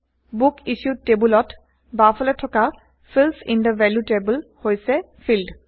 book issued table ত বাওফালে থকা fields in the value table হৈছে ফিল্ড